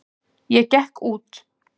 Ég gekk út.